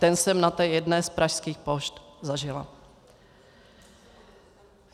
Ten jsem na té jedné z pražských pošt zažila.